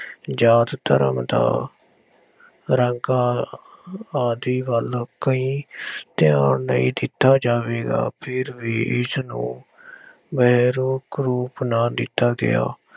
ਜਾਤ ਧਰਮ ਦਾ ਰੰਗ ਆਦਿ ਵੱਲ ਕਈ ਧਿਆਨ ਨਹੀਂ ਦਿੱਤਾ ਜਾਵੇਗਾ, ਫਿਰ ਵੀ ਇਸ ਨੂੰ ਰੂਪ ਨਾ ਦਿੱਤਾ ਗਿਆ।